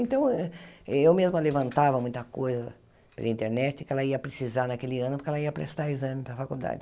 Então, eu mesma levantava muita coisa pela internet, que ela ia precisar naquele ano, porque ela ia prestar exame para a faculdade.